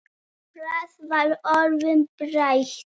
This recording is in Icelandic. Flest var orðið breytt.